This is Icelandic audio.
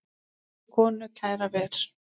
Á sér konu kæra ver.